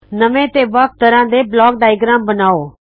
ਨਵੇਂ ਤੇ ਵੱਖ ਤਰਹ ਦੇ ਬਲਾਕ ਡਾਇਗ੍ਰਾਮ ਬਨਾਉ